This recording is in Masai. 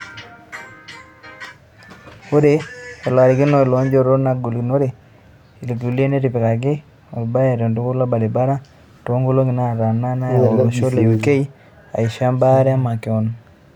Or eolarikoni le njoto nagilunore ilkulia netipikaki olbay tolbuket lolbaribara toonkolongi naatana neyay olosho le UK aisho e baare emakeon.